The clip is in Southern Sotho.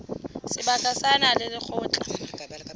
seboka sa naha le lekgotla